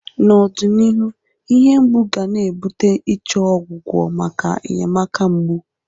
N'ọdịnihu, ihe mgbu ga na-ebute ichọ ọgwụgwọ maka enyemaka mgbu.